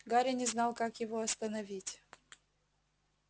гарри не знал как его остановить